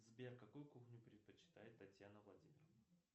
сбер какую кухню предпочитает татьяна владимировна